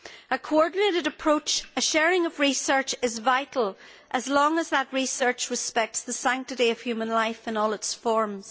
A coordinated approach and a sharing of research are vital, as long as that research respects the sanctity of human life in all its forms.